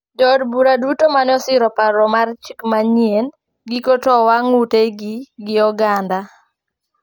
Jo od bura duto mano osiro paro mar chik manyien giko to owang` ute gi oganda